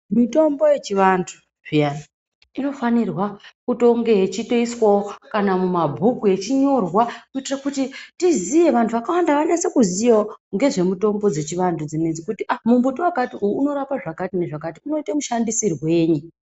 Mitombo yechivantu peya inofanirwa kutonge yechitoiswawo kana mumabhuku Yechinyorwa kuitire kuti tiziye vantu vakawanda vanyase kuziyawo ngezve mutombo yechivantu dzinedzi kuti aa mumbuti wakati unorapa zvakati nezvakayi unoite mushandisirwei.